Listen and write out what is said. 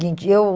Eu